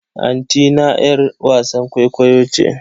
Antina 'yar wasan kwaikwayo ce.